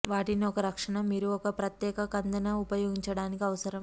వాటిని ఒక రక్షణ మీరు ఒక ప్రత్యేక కందెన ఉపయోగించడానికి అవసరం